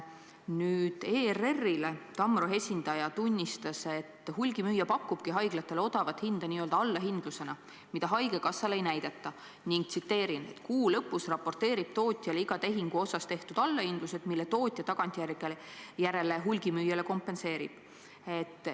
ERR-ile Tamro esindaja tunnistas, et hulgimüüja pakubki haiglatele odavat hinda n-ö allahindlusena, mida haigekassale ei näidata, ning "kuu lõpus raporteerib tootjale iga tehingu osas tehtud allahindlused, mille tootja tagantjärele hulgimüüjale kompenseerib".